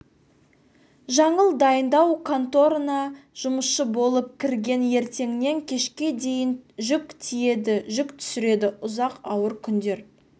жаңыл дайындау конторына жұмысшы болып кірген ертеңнен кешке дейін жүк тиейді жүк түсіреді ұзақ ауыр күндер